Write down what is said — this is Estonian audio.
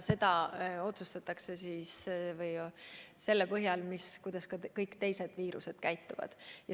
Seda on järeldatud selle põhjal, kuidas kõik teised viirused käituvad.